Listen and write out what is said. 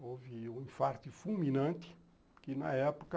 Houve um infarte fulminante que, na época,